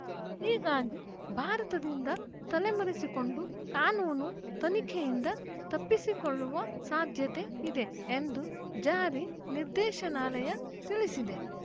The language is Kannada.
ಹೀಗಾಗಿ ಭಾರತದಿಂದ ತಲೆ ಮರೆಸಿಕೊಂಡು ಕಾನೂನು ತನಿಖೆಯಿಂದ ತಪ್ಪಿಸಿಕೊಳ್ಳುವ ಸಾಧ್ಯತೆ ಇದೆ ಎಂದು ಜಾರಿ ನಿರ್ದೇಶನಾಲಯ ತಿಳಿಸಿದೆ